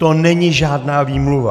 To není žádná výmluva.